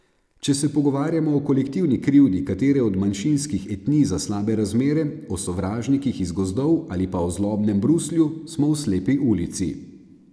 Če se pogovarjamo o kolektivni krivdi katere od manjšinskih etnij za slabe razmere, o sovražnikih iz gozdov ali pa o zlobnem Bruslju, smo v slepi ulici.